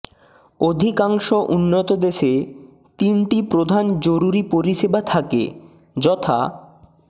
অধিকাংশ উন্নত দেশে তিনটি প্রধান জরুরি পরিষেবা থাকে যথাঃ